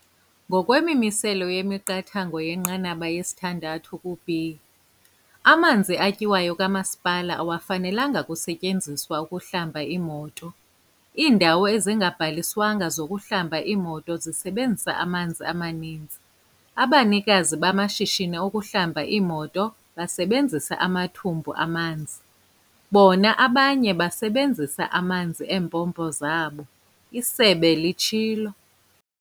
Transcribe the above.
"Ngokwemimiselo yemiqathango yenqanaba 6B, amanzi atyiwayo kamasipala awafenalanga kusetyenziselwa ukuhlamba iimoto. Iindawo ezingabhaliswanga zokuhlamba iimoto zisebenzisa amanzi amaninzi. Abanikazi bamashishini okuhlamba iimoto basebenzisa amathumbu amanzi, bona abanye basebenzisa amanzi eempompo zabo," isebe litshilo.